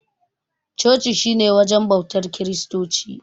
Coci shi ne wajen bautar kiristoci.